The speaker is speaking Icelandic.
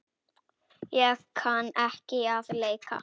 Ég kann ekki að leika.